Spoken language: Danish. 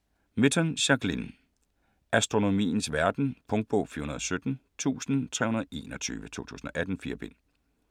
Mitton, Jacqueline: Astronomiens verden Punktbog 417321 2018. 4 bind.